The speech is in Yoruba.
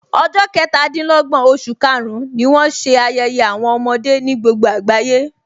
Ọjọ́ ketadinlogbon oṣù karùn-ún ni wọn ṣe ayẹyẹ àwọn ọmọdé ní gbogbo agbaye.